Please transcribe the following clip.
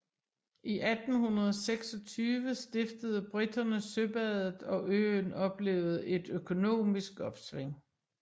I 1826 stiftede briterne søbadet og øen oplevede et økonomisk opsving